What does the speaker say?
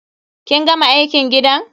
Kin gama aikin gidan?